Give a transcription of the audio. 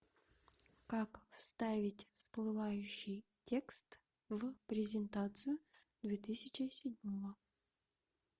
как вставить всплывающий текст в презентацию две тысячи седьмого